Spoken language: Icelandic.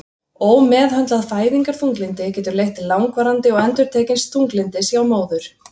Ómeðhöndlað fæðingarþunglyndi getur leitt til langvarandi og endurtekins þunglyndis hjá móður.